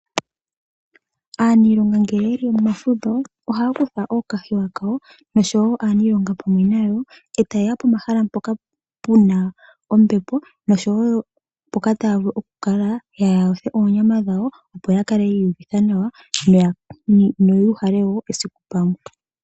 Aaniilonga ngele yeli momafudho ohaya kutha ookahewa kawo nosho wo aaniilonga pamwe nayo e tayeya pomahala mpoka puna ombepo nosho wo mpoka taya vulu okukala yayotha oonyama dhawo opo yakale yiihuvitha nawa no yuuhale wo esiku pamwe.